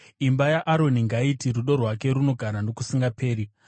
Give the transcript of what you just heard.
Imba yaAroni ngaiti, “Rudo rwake runogara nokusingaperi.”